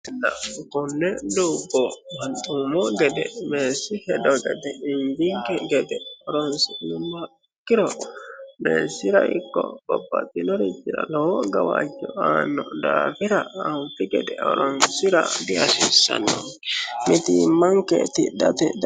kunne duubbo manxuumo gede meessi hedo gede injiinike gede horonsinummoha ikkiro meessira ikko bobaxinori jira lowo gawaayyo aanno daafira aanfi gede horonsira diasiissanno mitiimmanke tidate